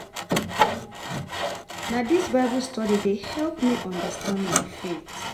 Na dis Bible study dey help me understand my faith.